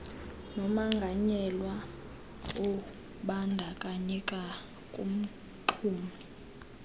nomonganyelwa obandakanyeka kumxumi